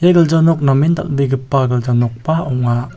ia gilja nok namen dal·begipa gilja nokba ong·a.